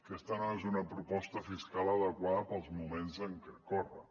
aquesta no és una proposta fiscal adequada per als moments que corren